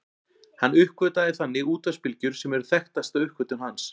Hann uppgötvaði þannig útvarpsbylgjur sem eru þekktasta uppgötvun hans.